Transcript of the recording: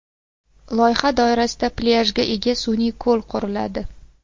Loyiha doirasida plyajga ega sun’iy ko‘l quriladi.